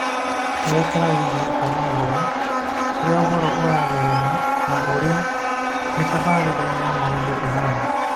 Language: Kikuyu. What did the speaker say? Mwerekera wĩgiĩ kwaga ũhoro, ũrĩa ũhoro ũratherema na ũrĩa mĩtabarĩre ya maũndũ ĩhaana